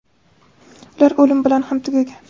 ular o‘lim bilan ham tugagan.